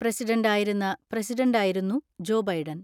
പ്രസിഡന്റായിരുന്ന പ്രസിഡന്റായിരുന്നു Joe Biden.